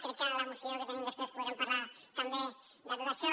crec que a la moció que tenim després podrem parlar també de tot això